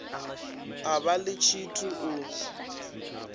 a vha ḽi tshithu u